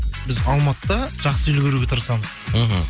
біз алматыда жақсы үлгеруге тырысамыз мхм